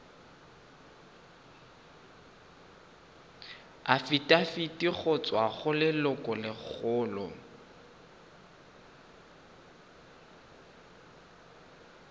afitafiti go tswa go lelokolegolo